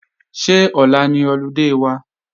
Ṣé ọ̀la ni ọludé wa?